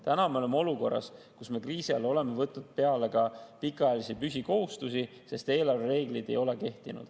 Täna me oleme olukorras, kus me kriisi ajal oleme võtnud peale ka pikaajalisi püsikohustusi, sest eelarvereeglid ei ole kehtinud.